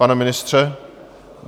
Pane ministře?